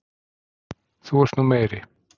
ÞÚ ERT NÚ MEIRI